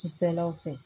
Cifɛnlaw fɛ